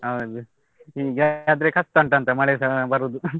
ಹೌದು ಹೀಗಾದ್ರೆ ಕಷ್ಟ ಉಂಟಾ ಅಂತ ಮಳೆಸ ಬರುದು.